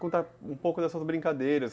Contar um pouco dessas brincadeiras.